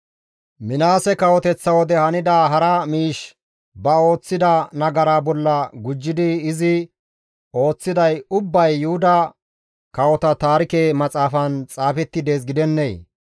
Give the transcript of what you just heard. Minaase kawoteththa wode hanida hara miish ba ooththida nagaraa bolla gujjidi izi ooththiday ubbay Yuhuda Kawota Taarike Maxaafan xaafetti dees gidennee?